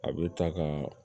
A bɛ taa ka